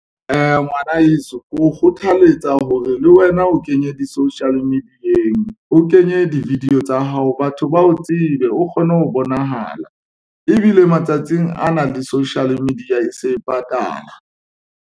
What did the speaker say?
Ngwana heso ke o kgothaletsa hore le wena o kenye di-social media-eng, o kenye di-video tsa hao. Batho ba o tsebe, o kgone ho bonahala ebile matsatsing ana le social media e se e patala.